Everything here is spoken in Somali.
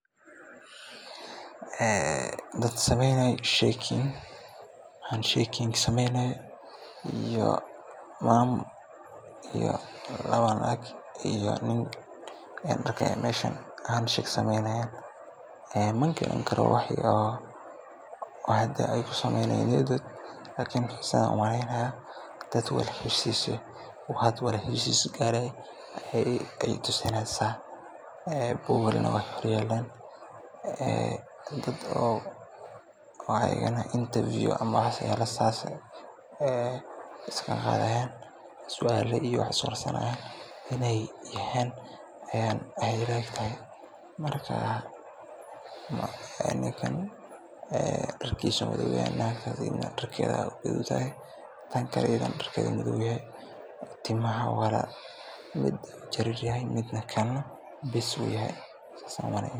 Dad sameynayo hand shake sameynayo oo lawa naag iyo niin ah ayan arka meeshan magaran karo waxa ey kusabsantahay lakin waxey tusimesya dad wada heshiis ah ma dad interview camal sualo isweydinayo ayan umaleya oo nin iyo lawo naaag ah.